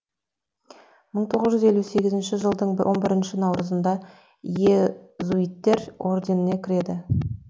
мың тоғыз жүз елу сегізінші жылдың он бірінші наурызында иезуиттер орденіне кіреді